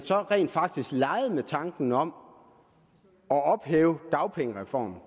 rent faktisk legede med tanken om at ophæve dagpengereformen